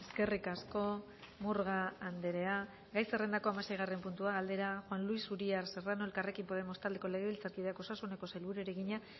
eskerrik asko murga andrea gai zerrendako hamaseigarrena puntua galdera juan luis uria serrano elkarrekin podemos taldeko legebiltzarkideak osasuneko sailburuari egina